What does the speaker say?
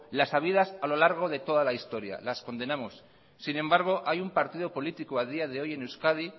las habidas a lo largo de toda la historia las condenamos sin embargo hay un partido político a día de hoy en euskadi